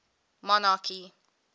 monarchy